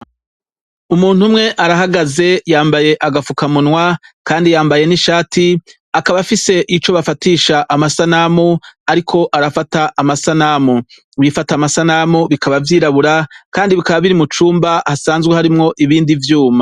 Umuntu umwe arahagaze yambaye agafukamunwa Kandi yambaye n'ishati akaba afise ico bafatisha amasanamu ariko arafata amasanamu, ibifata amasanamu bikaba vyirabura Kandi bikaba biri mucumba hasanzwe harimwo ibindi vyuma.